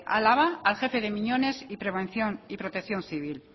álava al jefe de miñones y protección civil